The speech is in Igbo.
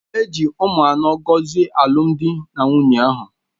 E ji ụmụaka anọ gọzie alụmdi na nwunye ahụ